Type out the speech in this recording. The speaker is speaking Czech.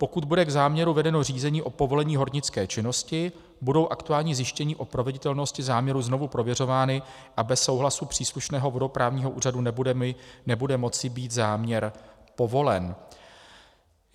Pokud bude k záměru vedeno řízení o povolení hornické činnosti, budou aktuální zjištění o proveditelnosti záměru znovu prověřována a bez souhlasu příslušného vodoprávního úřadu nebude moci být záměr povolen.